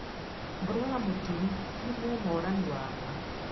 Mbũrũ wa Mũturi nĩ mũ Morani wa maa.